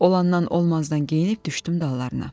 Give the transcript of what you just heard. Olandan olmazdan geyinib düşdüm dallarına.